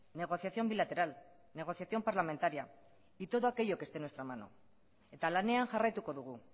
negociación bilateral negociación parlamentaria y todo aquello que esté en nuestra mano eta lanean jarraituko dugu